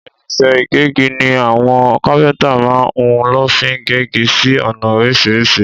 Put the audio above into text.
Ìrínsẹ ìgẹgí ní awon kàpẹntá mà hún lófi gẹgi sí ona orísìsírì